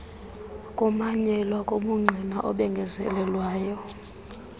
kumanyelwa kobungqina obengezelelweyo